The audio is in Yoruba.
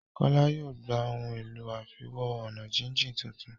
Kola yóò gbà Ohun èlò àfiwo-ọ̀nàjíjìn títún.